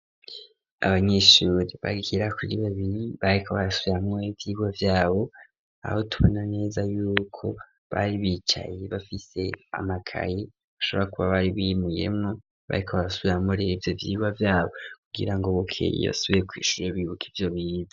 Abanyeshuri bagira kuri babiri ,bariko basubiramwo ivyirwa vyabo, aho tubona neza y'uko bari bicaye bafise amakayi ,bashobora kuba bari bimuyemwo bayikabasubiramwo ivyo vyiwa vyabo ,kugira ngo bukeye yasubiye kwishuri, bibuka ivyo bize.